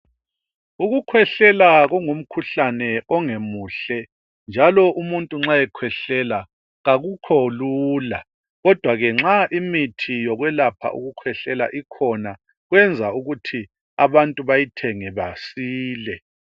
Ukukhwehlela kungumkhuhlane ongamuhle njalo umuntu nxa ekhwehlela akukholula kodwa ke nxa imithi yokwelapha ukukhwehlela ikhona kuyenza ukuthi abantu bayithenge basile.